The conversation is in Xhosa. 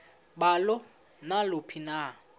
balo naluphi na